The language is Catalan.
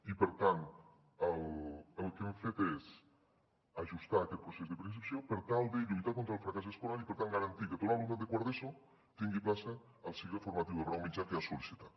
i per tant el que hem fet és ajustar aquest procés de preinscripció per tal de lluitar contra el fracàs escolar i per tant garantir que tot l’alumnat de quart d’eso tingui plaça al cicle formatiu de grau mitjà que ha sol·licitat